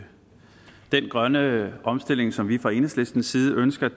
den grønne omstilling som vi fra enhedslistens side ønsker